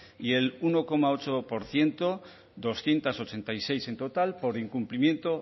y el uno coma ocho por ciento doscientos ochenta y seis en total por incumplimiento